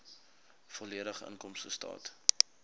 volledige inkomstestaat